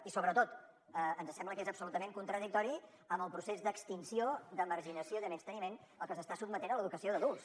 i sobretot ens sembla que és absolutament contradictori amb el procés d’extinció de marginació i de menysteniment al que se s’està sotmetent l’educació d’adults